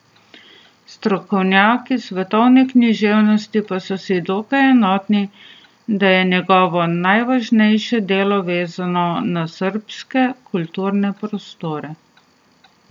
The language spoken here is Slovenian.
Strokovnjaki svetovne književnosti pa so si dokaj enotni, da je njegovo najvažnejše delo vezano na srbske kulturne prostore.